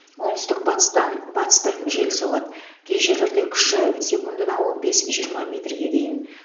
оңтүстік батыстан батыстан жел соғады кей жерлерде күші секундына он бес жиырма метрге дейін